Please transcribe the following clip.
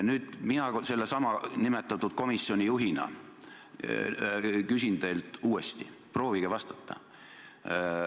Nüüd mina sellesama eelnimetatud komisjoni juhina küsin teilt uuesti, proovige vastata.